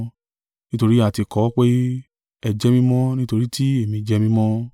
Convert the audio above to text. Nítorí a ti kọ ọ pé, “Ẹ jẹ́ mímọ́: nítorí tí Èmi jẹ mímọ́!”